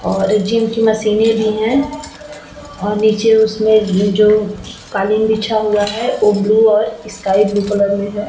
और जिम की मशीने भी है और नीचे उसमे जो कालीन बिछा हुआ है वो ब्लू और स्काई ब्लू में है।